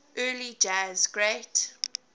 early jazz great